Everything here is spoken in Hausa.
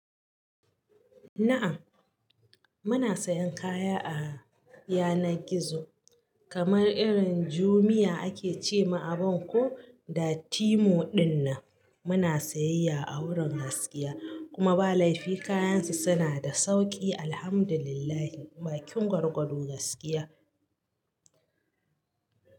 Na'm muna sayan kaya a yanar gizo kamar irin Jumia ake ce ma abun ko da Temu dinnan muna sayayya a wurin gaskiya kuma ba laifi kayansu suna da sauki Alhamdulillah ba kin gwargwado gaskiya.